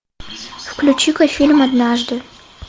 включи ка фильм однажды